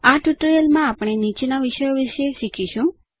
આ ટ્યુટોરીયલમાં આપણે નીચેના વિષયો વિષે શીખીશું